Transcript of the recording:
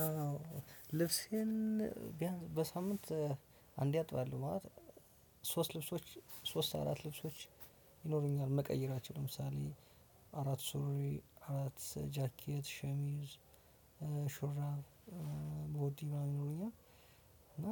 አዎ ልብሴን ቢያንስ በሳምንት አንዴ አጥባለሁ ማለት ሶስት ልብሶች ሶስት አራት ልብሶች ይኖሩኛል ምቀይራቸው ለምሳሌ አራት ሱሪ አራት ጃኬት ሸሚዝ ሹራብ ቦዲ ምናምን ይኖሩኛል። እና